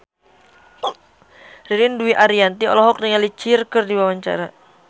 Ririn Dwi Ariyanti olohok ningali Cher keur diwawancara